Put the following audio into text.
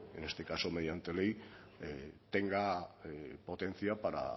en este caso mediante ley tenga potencia para